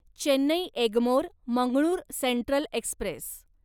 Chennai Egmore Mangalore central Express